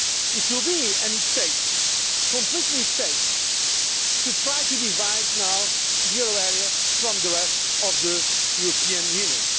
It would be a mistake, a complete mistake, to try to divide the euro area from the rest of the European Union.